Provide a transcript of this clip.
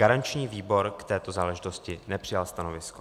Garanční výbor k této záležitosti nepřijal stanovisko.